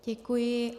Děkuji.